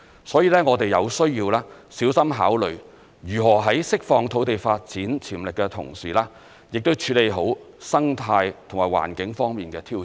所以，我們有需要小心考慮，如何在釋放土地發展潛力的同時，處理好生態及環境方面的挑戰。